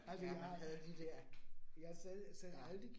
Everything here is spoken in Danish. Ja, vi havde de dér. Ja